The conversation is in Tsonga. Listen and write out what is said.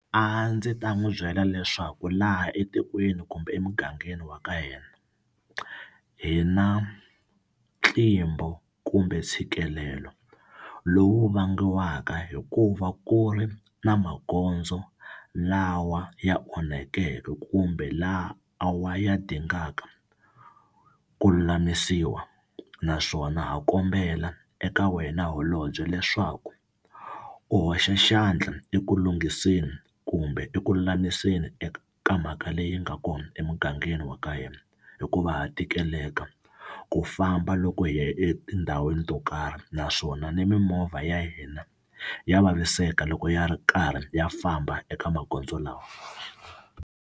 A ndzi ta n'wi byela leswaku laha etikweni kumbe emugangeni wa ka hina hi na ntlimbo kumbe ntshikelelo lowu vangiwaka hikuva ku ri na magondzo lawa ya onhakeke kumbe laha a wa ya dingaka ku lulamisiwa naswona ha kombela eka wena holobye leswaku u hoxa xandla eku lunghiseni kumbe eku lulamiseni eka ka mhaka leyi nga kona emugangeni wa ka hina hikuva ha tikeleka ku famba loko hi ya etindhawini to karhi naswona ni mimovha ya hina ya vaviseka loko ya ri karhi ya famba eka magondzo lawa.